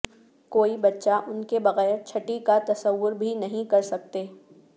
کوئی بچہ ان کے بغیر چھٹی کا تصور بھی نہیں کر سکتے